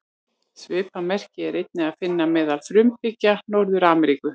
Svipað merki er einnig að finna meðal frumbyggja Norður-Ameríku.